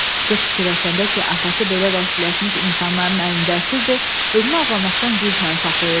Qız fikirləşəndə ki, atası belə vəhşiləşmiş insanların əlində əsirdir, özünü ağlamaqdan güclə saxlayırdı.